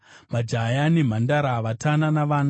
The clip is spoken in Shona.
majaya nemhandara, vatana navana.